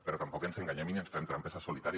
però tampoc ens enganyem ni ens fem trampes al solitari